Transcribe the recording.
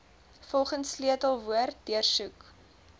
volgens sleutelwoorde deursoek